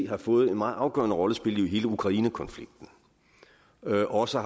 har fået en meget afgørende rolle at spille i hele ukrainekonflikten og også